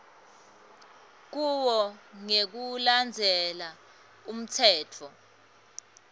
kuwo ngekulandzela umtsetfo